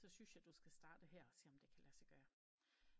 Så syntes jeg du skal starte her og se om det kan lade dog gøre